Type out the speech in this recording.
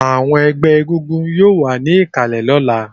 Àwọn ẹgbẹ́ egúngún yóò wà ní ìkàlẹ̀ lọ́la